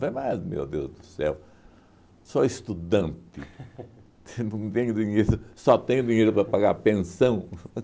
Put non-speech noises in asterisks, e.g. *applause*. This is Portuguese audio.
Eu falei, mas, meu Deus do céu, sou estudante, *laughs* não tenho dinheiro, só tenho dinheiro para pagar pensão.